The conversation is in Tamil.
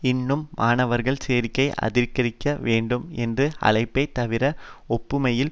இன்னும் மாணவர்கள் சேர்க்கை அதிகரிக்க வேண்டும் என்ற அழைப்பைத் தவிர ஒப்புமையில்